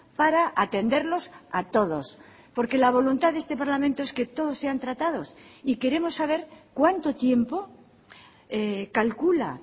para atenderlos a todos porque la voluntad de este parlamento es que todos sean tratados y queremos saber cuánto tiempo calcula